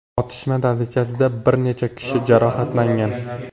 Otishma natijasida bir necha kishi jarohatlangan.